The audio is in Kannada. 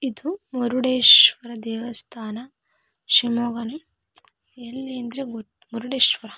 ಇದು ಮೂರುಡೇಶ್ವರ ದೇವಸ್ಥಾನ ಶಿವಮೊಗ್ಗನೆ ಎಲ್ಲಿ ಅಂದ್ರೆ ಗೊತ್ ಮೂರುಡೇಶ್ವರ--